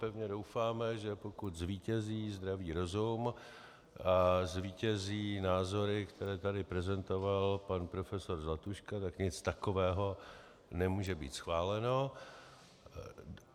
Pevně doufáme, že pokud zvítězí zdravý rozum a zvítězí názory, které tady prezentoval pan profesor Zlatuška, tak nic takového nemůže být schváleno.